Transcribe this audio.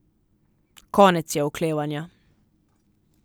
Konec je oklevanja.